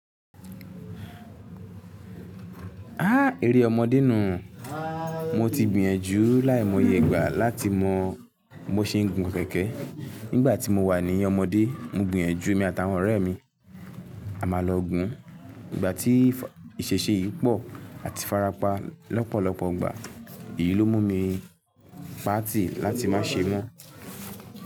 Há! Èrè ọmọdé nu-un. Mo ti gbìyànjú láìmọye ìgbà láti mọ bo ṣe ń gun kẹ̀kẹ́. Nígbà tí mo wà ní ọmọdé, mo gbìyànjú èmi àtàwọn ọ̀rẹ́ mi, a máa lọ gùn. Ìgbà tí ìpèsè yìí pọ̀ àti farapa lọ́pọ̀lọpọ̀ ìgbà. Èyí ló mú mi patì láti má ṣe mọ́.